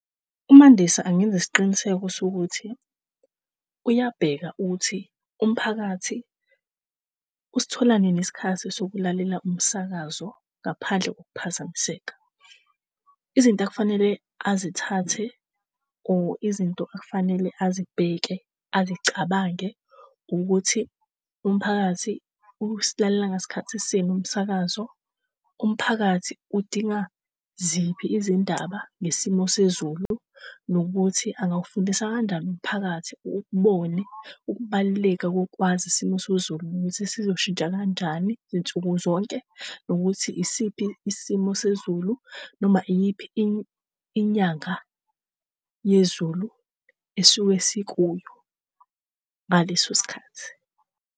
UMandisa angenza isiqiniseko sokuthi uyabheka ukuthi umphakathi usithola nini isikhathi sokulalela umsakazo, ngaphandle kokuphazamiseka. Izinto okufanele azithathe or izinto okufanele azibheke, azicabange, ukuthi umphakathi usilalela ngasikhathisini umsakazo. Umphakathi udinga ziphi izindaba nesimo sezulu nokuthi angawufundisa kanjani umphakathi ukubone ukubaluleka kokwazi isimo sezulu ukuthi sizoshintsha kanjani zinsukuzonke nokuthi isiphi isimo sezulu noma iyiphi inyanga yezulu esisuke sikuyo ngaleso sikhathi.